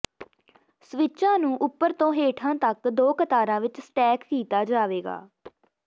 ਸਵਿੱਚਾਂ ਨੂੰ ਉੱਪਰ ਤੋਂ ਹੇਠਾਂ ਤਕ ਦੋ ਕਤਾਰਾਂ ਵਿੱਚ ਸਟੈਕ ਕੀਤਾ ਜਾਵੇਗਾ